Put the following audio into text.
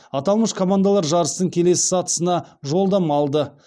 аталмыш командалар жарыстың келесі сатысына жолдама алды